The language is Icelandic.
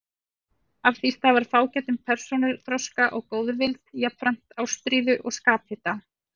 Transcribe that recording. Af því stafar fágætum persónuþroska og góðvild, jafnframt ástríðu og skaphita.